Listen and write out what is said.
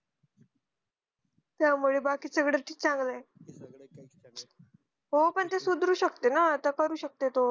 त्या मुळे बाकी सगळं चांगलं ये हो पण ती सुधारू शकते ना आता करू शकते तो